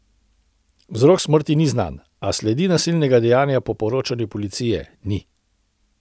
Vzrok smrti ni znan, a sledi nasilnega dejanja po poročanju policije ni.